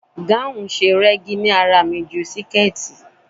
Gáun ṣe rẹ́gí lára mi ju siketi.